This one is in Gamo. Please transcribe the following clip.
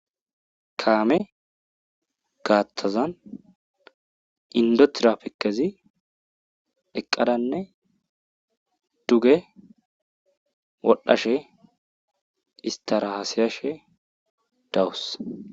Kaame gaathazan inddo tiraafikezi eqqadanne duge wodhashe isttara haasayashe dawus.